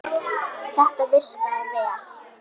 Þetta virkaði vel.